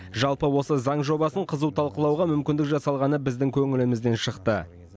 жалпы осы заң жобасын қызу талқылауға мүмкіндік жасалғаны біздің көңілімізден шықты